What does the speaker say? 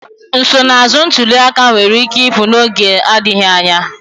Nsonaazụ ntuli aka nwere ike ịpụ n'oge adịghị anya.